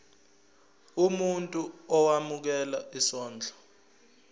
umuntu owemukela isondlo